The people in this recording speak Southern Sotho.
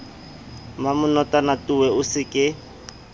mmamenotwana towe o se ke